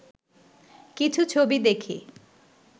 কিছু ছবি দেখে